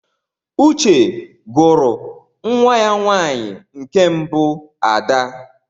Uche gwuru nwa ya nwanyi nke mbu Ada